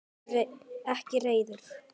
Ekki reiður.